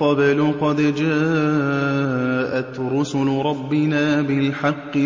قَبْلُ قَدْ جَاءَتْ رُسُلُ رَبِّنَا بِالْحَقِّ